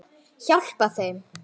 Hjálpa þeim.